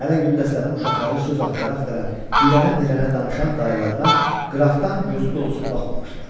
Hələ güldəstənin uşaqları söz axtara-axtara, dirənə-dirənə danışan dayılarına qıraqdan gözü dolusu baxmamışdılar.